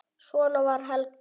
Svona var Helga.